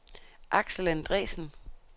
Axel Andresen